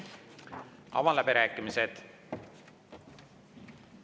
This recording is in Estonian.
Avan läbirääkimised.